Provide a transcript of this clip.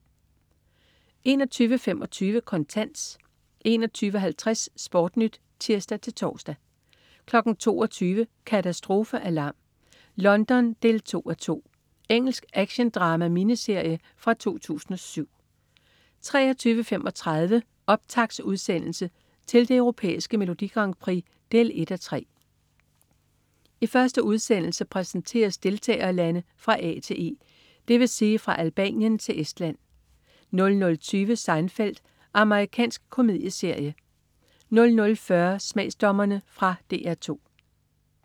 21.25 Kontant 21.50 SportNyt (tirs-tors) 22.00 Katastrofealarm: London 2:2. Engelsk actiondrama-miniserie fra 2007 23.35 Optaktsudsendelse til det Europæiske Melodi Grand Prix 1:3. I første udsendelse præsenteres deltagerlande fra A til E, dvs. fra Albanien til Estland 00.20 Seinfeld. Amerikansk komedieserie 00.40 Smagsdommerne. Fra DR 2